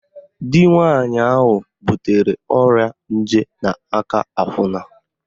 Di nwaanyị ahụ butere ọrịa nje n'aka akwụna